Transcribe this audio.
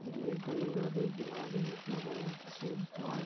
यह गंगा के किनारे इतना बड़ा पार्क --